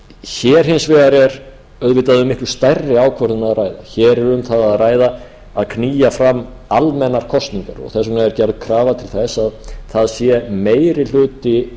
hér hins vegar er auðvitað um miklu stærri ákvörðun að ræða hér er um það að ræða að knýja fram almennar kosningar og þess vegna er gerð krafa til þess að það sé meiri hluti